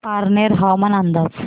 पारनेर हवामान अंदाज